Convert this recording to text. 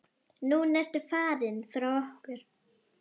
Núna ertu farinn frá okkur.